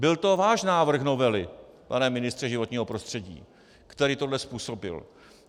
Byl to váš návrh novely, pane ministře životního prostředí, který tohle způsobil.